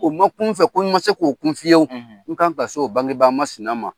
U man kun n fɛ, ko n ma se ko kun fiyew, n kan ka se, o bangebaga masina ma.